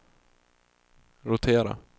rotera